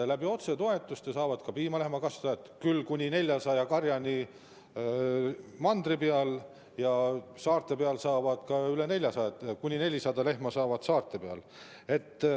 Otsetoetusi saavad ka piimalehmakasvatajad, mandril küll kuni 400 lehmaga karja puhul ja saarte peal ka üle 400 lehmaga karja puhul.